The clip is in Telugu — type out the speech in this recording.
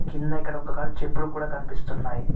కింద ఇక్కడ ఒక్క కాలు చెప్పులు కూడా కనిపిస్తున్నాయి.